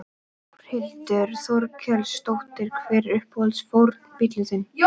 Þórhildur Þorkelsdóttir: Hver er uppáhalds fornbíllinn þinn?